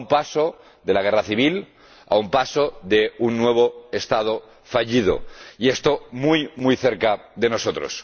A un paso de la guerra civil, a un paso de un nuevo Estado fallido y esto muy muy cerca de nosotros.